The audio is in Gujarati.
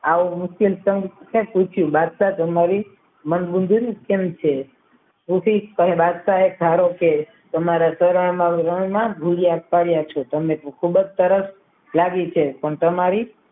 આવો મુસ્લિમ પંથ ને સુખી બાદશાહ મંદબુદ્ધિ એ ઠીક પણ બાદશાહ ધારો કે તમારા ચરણમાં રણમાં પાડ્યા છો તમે ખૂબ જ સરસ લાગી છે પણ તમારી